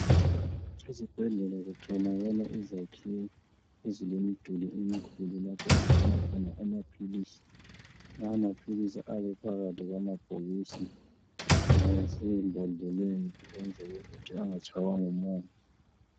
Ezibhedlela kutholakala izakhiwo ezilemiduli emikhulu lapho okugcinwa khona amaphilisi, lawo maphilisi ayabe ephakathi kwamabhokisi lasembodleleni ukwenzela ukuthi angatshaywa ngumoya.